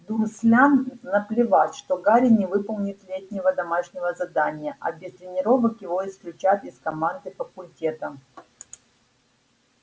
дурслям наплевать что гарри не выполнит летнего домашнего задания а без тренировок его исключат из команды факультета